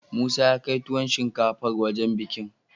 Musa yakai tuwon shinkafar wajan bikin